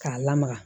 K'a lamaga